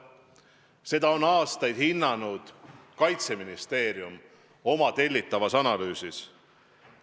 Seda on aastaid hinnanud Kaitseministeerium oma tellitavas analüüsis.